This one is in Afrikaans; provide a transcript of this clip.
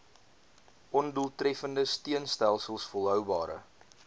ondoeltreffende steunstelsels volhoubare